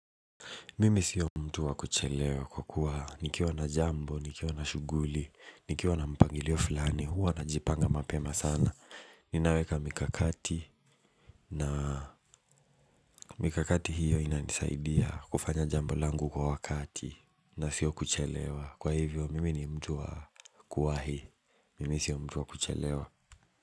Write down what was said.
Mimi sio mtu wa kuchelewa kwa kuwa nikiwa na jambo, nikiwa na shuguli, nikiwa na mpangilio fulani, huwa na jipanga mapema sana. Ninaweka mikakati na mikakati hiyo inanisaidia kufanya jambo langu kwa wakati na sio kuchelewa. Kwa hivyo, mimi ni mtu wa kuwahi. Mimi sio mtu wa kuchelewa.